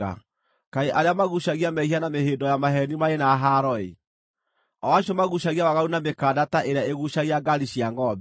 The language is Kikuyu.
Kaĩ arĩa maguucagia mehia na mĩhĩndo ya maheeni marĩ na haaro-ĩ! o acio maguucagia waganu na mĩkanda ta ĩrĩa ĩguucagia ngaari cia ngʼombe,